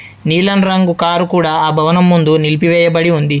నీలం రంగు కారు కూడా ఆ భవనం ముందు నిలిపివేయబడి ఉంది.